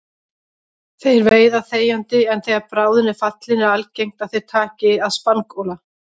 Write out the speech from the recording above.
Þeir veiða þegjandi en þegar bráðin er fallin er algengt að þeir taki að spangóla.